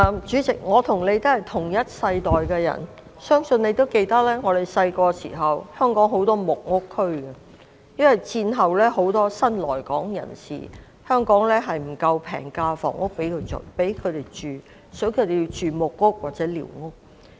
主席，我和你也是同一世代的人，你諒必記得，我們小時候，香港有很多木屋區，因為戰後有很多新來港人士，但香港並無足夠的平價房屋供他們居住，所以，他們要居住在木屋或寮屋。